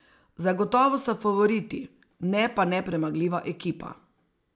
Zagotovo so favoriti, ne pa nepremagljiva ekipa.